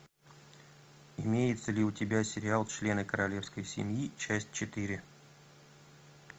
имеется ли у тебя сериал члены королевской семьи часть четыре